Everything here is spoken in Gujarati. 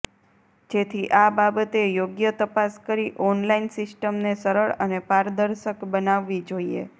જેથી આ બાબતે યોગ્ય તપાસ કરી ઓનલાઈન સીસ્ટમને સરળ અને પારદર્શક બનાવી જોઈએ